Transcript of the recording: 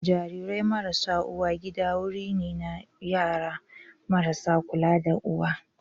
Jarirai marasa uwa gida wuri ne na yara marasa kula da uwa.